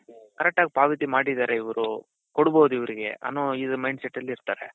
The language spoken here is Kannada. correct ಆಗಿ ಪಾವತಿ ಮಾಡಿದ್ದಾರೆ ಇವ್ರು ಕೊಡ್ಬಹುದು ಇವರಿಗೆ ಅನ್ನೋ ಇದು mind set ಅಲ್ಲಿ ಇರ್ತಾರೆ.